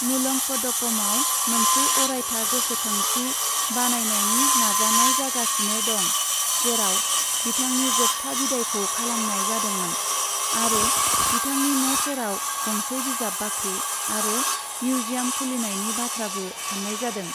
मुलंकडकमआव मोनसे अरायथा गोसोखांथि बानायनायनि नाजानाय जागासिनो दं, जेराव बिथांनि जोबथा बिदायखौ खालामनाय जादोंमोन, आरो बिथांनि न' सेराव गंसे बिजाब बाख्रि आरो मिउजियाम खुलिनायनि बाथ्राबो सान्नाय जादों।